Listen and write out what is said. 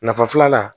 Nafa filanan